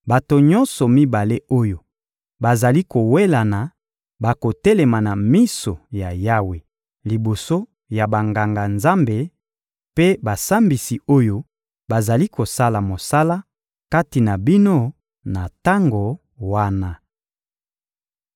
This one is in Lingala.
bato nyonso mibale oyo bazali kowelana bakotelema na miso ya Yawe liboso ya Banganga-Nzambe mpe basambisi oyo bazali kosala mosala kati na bino na tango wana.